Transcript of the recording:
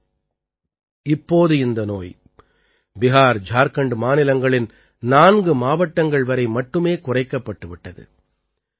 ஆனால் இப்போது இந்த நோய் பிஹார் ஜார்க்கண்ட் மாநிலங்களின் 4 மாவட்டங்கள் வரை மட்டுமே குறைக்கப்பட்டு விட்டது